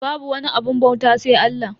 Babu wani abun bauta sai Allah.